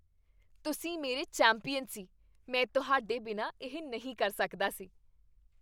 ਤੁਸੀਂ ਮੇਰੇ ਚੈਂਪੀਅਨ ਸੀ! ਮੈਂ ਤੁਹਾਡੇ ਬਿਨਾਂ ਇਹ ਨਹੀਂ ਕਰ ਸਕਦਾ ਸੀ।